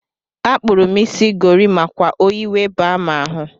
Akpuru m isi gorimakwa oyi wee baa m ahụ.